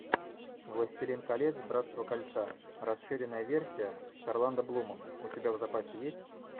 властелин колец братство кольца расширенная версия с орландо блумом у тебя в запасе есть